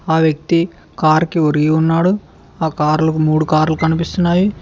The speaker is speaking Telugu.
ఆ వ్యక్తి కార్ కి ఒరిగి ఉన్నాడు ఆ కార్లు మూడు కార్లు కనిపిస్తున్నాయి.